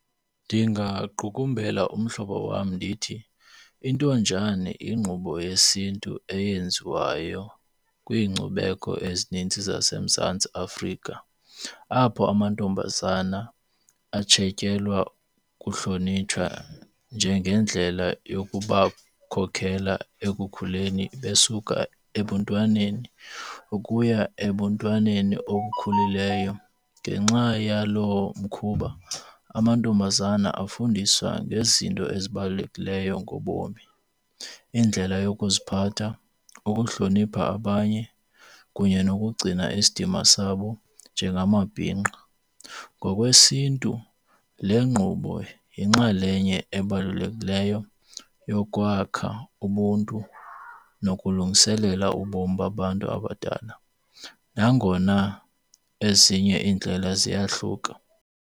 Ndingaqukumbela umhlobo wam ndithi intonjane ingqubo yesiNtu eyenziwayo kwiincubeko ezininzi zaseMzantsi Afrika apho amantombazana atshetyelwa kuhlonitshwa njengendlela yokubakhokela ekukhuleni besuka ebuntwaneni ukuya ebuntwaneni obukhulileyo. Ngenxa yalomkhuba amantombazana afundiswa ngezinto ezibalulekileyo ngobomi, indlela yokuziphatha, ukuhlonipha abanye kunye nokugcina isidima sabo njengamabhinqa. NgokwesiNtu le ngqubo yinxalenye ebalulekileyo yokwakha Ubuntu nokulungiselela ubomi babantu abadala nangona ezinye iindlela ziyahluka.